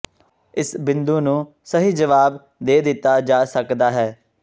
ਇਸ ਬਿੰਦੂ ਨੂੰ ਸਹੀ ਜਵਾਬ ਦੇ ਦਿੱਤਾ ਜਾ ਸਕਦਾ ਹੈ